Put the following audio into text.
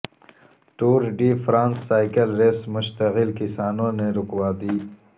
tour de France cycle race مشتعل کسانوں نے رکوا دی